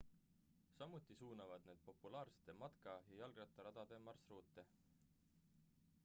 samuti suunavad need populaarsete matka ja jalgrattaradade marsruute